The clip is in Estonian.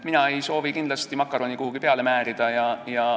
Mina ei soovi kindlasti makaroni kuhugi peale määrida.